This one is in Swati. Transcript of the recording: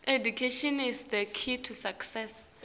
kumele ibe ngulesebentako